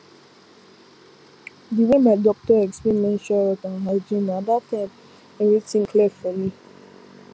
the way my doctor explain menstrual health and hygiene na that time everything clear for me